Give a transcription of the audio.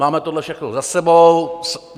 Máme tohle všechno za sebou.